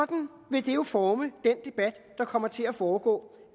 vil det jo forme den debat der kommer til at foregå